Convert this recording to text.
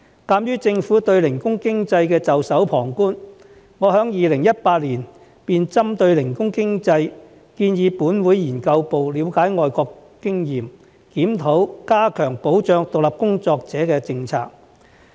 鑒於政府對零工經濟袖手旁觀，我在2018年便針對零工經濟建議本會資訊服務部資料研究組了解外國經驗，檢討加強保障獨立工作者的政策。